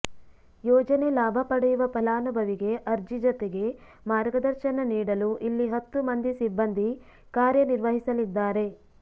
ಯೋಜನೆ ಲಾಭ ಪಡೆಯುವ ಫಲಾನುಭವಿಗೆ ಅರ್ಜಿ ಜತೆಗೆ ಮಾರ್ಗದರ್ಶನ ನೀಡಲು ಇಲ್ಲಿ ಹತ್ತು ಮಂದಿ ಸಿಬ್ಬಂದಿ ಕಾರ್ಯ ನಿರ್ವಹಿಸಲಿದ್ದಾರೆ